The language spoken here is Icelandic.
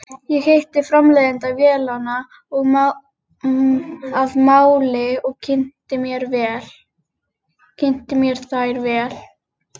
Ég hitti framleiðanda vélanna að máli og kynnti mér þær vel.